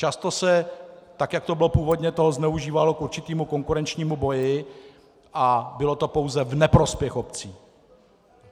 Často se, tak jak to bylo původně, toho zneužívalo k určitému konkurenčnímu boji a bylo to pouze v neprospěch obcí.